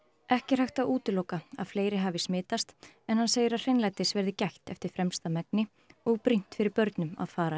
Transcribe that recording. ekki er hægt að útiloka að fleiri hafi smitast en hann segir að hreinlætis verði gætt eftir fremsta megni og brýnt fyrir börnum að fara